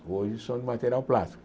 Hoje são de material plástico.